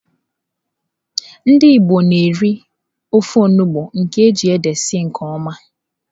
Ndị Igbo na-eri ofe onugbu nke eji ede sie nke oma.